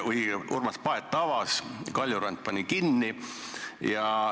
Urmas Paet avas, Kaljurand pani kinni.